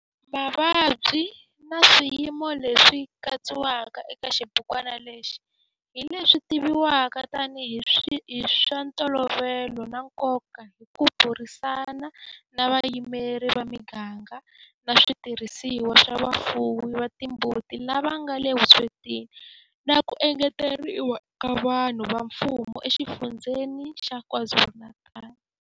Mavabyi na swiyimo leswi katsiwaka eka xibukwana lexi hi leswi tivivwaka tanihi hi swa ntolovelo na nkoka hi ku burisana na vayimeri va miganga na switirhisiwa swa vafuwi va timbuti lava nga le vuswetini na ku engeteriwa ka vatirhi va mfumo eXifundzheni xa KwaZulu-Natal.